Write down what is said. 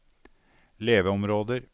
leveområder